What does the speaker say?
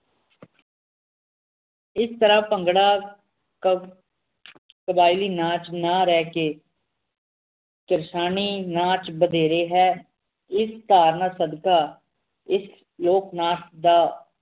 ਇਸ ਤਰਾਹ ਭੰਗੜਾ ਕ ਕਬਾਇਲੀ ਨਾਚ ਨਾ ਰਹਿ ਕੇ ਤਿਰਸ਼ਾਨੀ ਨਾਚ ਵਧੇਰੇ ਹੈ ਇਸ ਧਾਰਨਾ ਸਦਕਾ ਇਸ ਲੋਕਨਾਚ ਦਾ